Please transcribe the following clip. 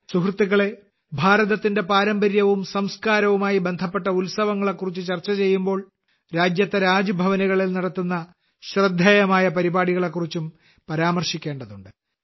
സുഹൃത്തുക്കളേ ഭാരതത്തിന്റെ പാരമ്പര്യവും സംസ്കാരവുമായി ബന്ധപ്പെട്ട ഉത്സവങ്ങളെ കുറിച്ച് ചർച്ച ചെയ്യുമ്പോൾ രാജ്യത്തെ രാജ്ഭവനുകളിൽ നടക്കുന്ന ശ്രദ്ധേയമായ പരിപാടികളെ കുറിച്ചും പരാമർശിക്കേണ്ടതുണ്ട്